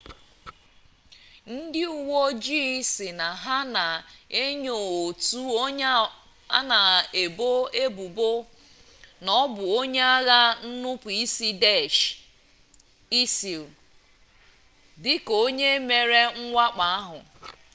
ndị uwe ojii sị na ha na-enyo otu onye a na-ebo ebubo na ọ bụ onye agha nnupuisi daesh isil dịka onye mere mwakpo ahụ